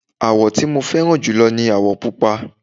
àwọ̀ tí mo fẹ́ràn jùlọ ní àwọ̀ pupa